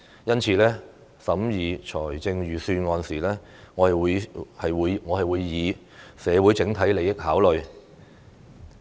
因此，審議預算案時，我會考慮社會整體利益。